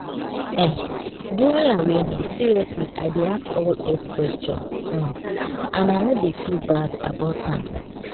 eh during awareness seriously i dey ask all health question um and i no dey feel bad about am.